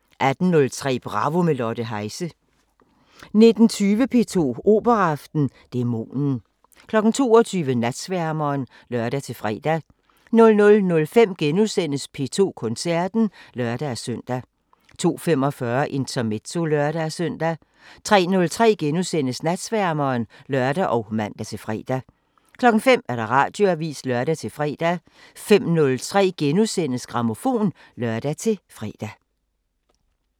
18:03: Bravo – med Lotte Heise 19:20: P2 Operaaften: Dæmonen 22:00: Natsværmeren (lør-fre) 00:05: P2 Koncerten *(lør-søn) 02:45: Intermezzo (lør-søn) 03:03: Natsværmeren *(lør og man-fre) 05:00: Radioavisen (lør-fre) 05:03: Grammofon *(lør-fre)